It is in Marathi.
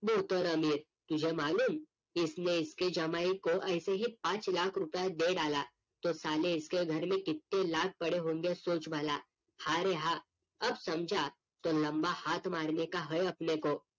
तुझे मालूम इसने इसके जमाई को ऐसे ही पांच लाख रूपए दे डाला, तो साले इसके घर में कितने लाख पड़े होंगे, सोच भला. हां रे हां अब समझा तो लम्बा हात मारने का है अपने को.